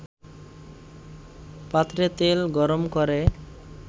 পাত্রে তেল গরমকরে